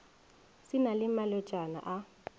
se na le malwetšana a